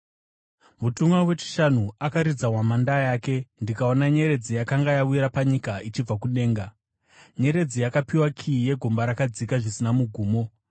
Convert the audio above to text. Mutumwa wechishanu akaridza hwamanda yake, ndikaona nyeredzi yakanga yawira panyika ichibva kudenga. Nyeredzi yakapiwa kiyi yegomba rakadzika zvisina mugumo.